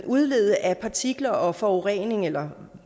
udlede af partikler og forurening eller